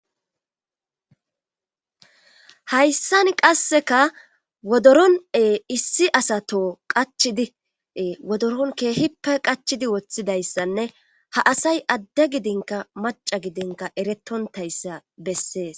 hayssan qasseka wodoronee issi asato qachidie wodoron keehippe qachidi woththidayssanne ha asay adde gidinka maca gidinka eretontayssa bessees